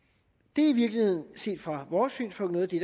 det er i virkeligheden set fra vores synspunkt noget af det